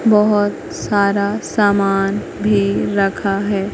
बहोत सारा सामान भी रखा है।